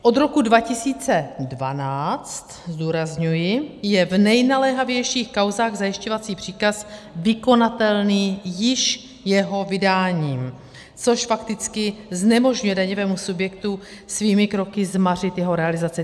Od roku 2012, zdůrazňuji, je v nejnaléhavějších kauzách zajišťovací příkaz vykonatelný již jeho vydáním, což fakticky znemožňuje daňovému subjektu svými kroky zmařit jeho realizaci.